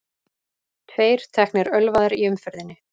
Tveir teknir ölvaðir í umferðinni